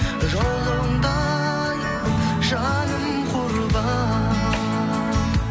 жолыңда ай жаным құрбан